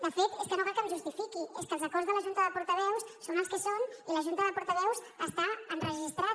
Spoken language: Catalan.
de fet és que no cal que em justifiqui és que els acords de la junta de portaveus són els que són i la junta de portaveus està enregistrada